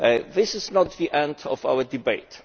This is not the end of our debate.